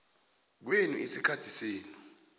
kwenu isikhathi senu